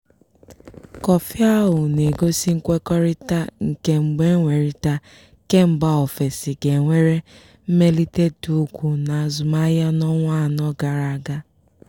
kọfị ahụ na-egosi nkwekọrịta nke mgbenwerita kembaofesi ga nwere mmelite dị ukwu n'azụmahịa n'ọnwa anọ gara aga.